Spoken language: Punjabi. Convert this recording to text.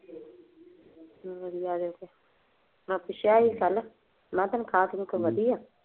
ਵਧੀਆ ਵੈਸੇ, ਤਨਖਾਹ ਤੁਨਖਾਹ ਵਧੀਆ।